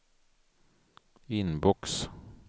inbox